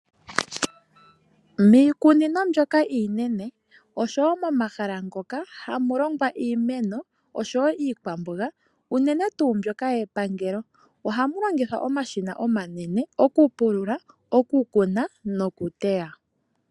Miikunino mbyoka iinene oshowo momahala ngoka hamu longwa iimeno noshowo iikwamboga unene tuu mbyoka yepangelo ohamu longithwa omashina omanene oku pulula, oku kuna noku teya.